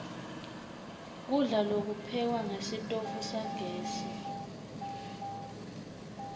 kudla lokuphekwa ngesitofu sagesi